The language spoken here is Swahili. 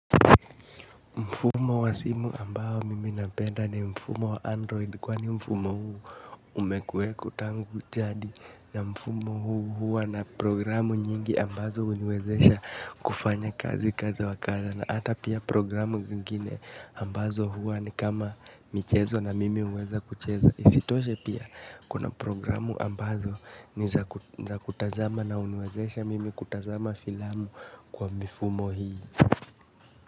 Mfumo wa simu ambao mimi napenda ni mfumo wa android kwani mfumo huu umekuweko tangu jadi na mfumo huu huwa na programu nyingi ambazo huniwezesha kufanya kazi kadha wa kadha na hata pia programu zingine ambazo huwa ni kama michezo na mimi huweza kucheza. Isitoshe pia kuna programu ambazo ni za kutazama na huniwezesha mimi kutazama filamu kwa mifumo hii.